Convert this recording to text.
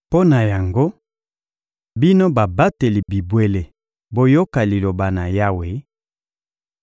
Mpo na yango, bino babateli bibwele, boyoka Liloba na Yawe: